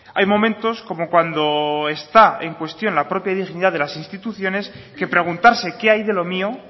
hay momentos como cuando está en cuestión la propia dignidad de las instituciones que preguntarse qué hay de lo mío